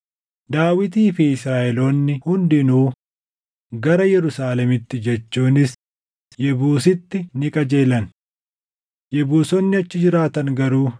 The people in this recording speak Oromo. Daawitii fi Israaʼeloonni hundinuu gara Yerusaalemitti jechuunis Yebuusiitti ni qajeelan. Yebuusonni achi jiraatan garuu